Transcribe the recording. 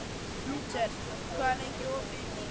Lúter, hvað er lengi opið í Byko?